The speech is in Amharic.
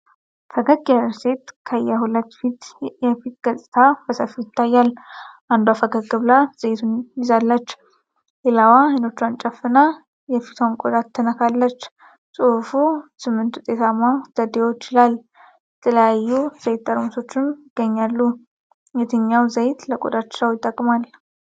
ፈገግ ያለች ሴት ከየሁለት ሴቶች የፊት ገጽታ በሰፊው ይታያል፤ አንዷ ፈገግ ብላ ዘይቶችን ትይዛለች። ሌላዋ አይኖቿን ጨፍና የፊቷን ቆዳ ትነካለች። ጽሁፉ “8 ውጤታማ + ዘዴዎች!” ይላል፤ የተለያዩ ዘይት ጠርሙሶችም ይገኛሉ። የትኛው ዘይት ለቆዳቸው ይጠቅማል?